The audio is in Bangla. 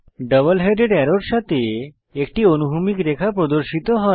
ডাবল হেডেড অ্যারোর সাথে একটি অনুভূমিক রেখা প্রদর্শিত হয়